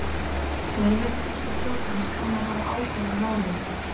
Leyniþjónusta flotans kann að hafa áhuga á málinu